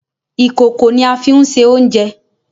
Ìkòkò ní a fín sè oúnjẹ